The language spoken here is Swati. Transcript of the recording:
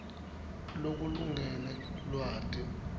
lokulingene lwati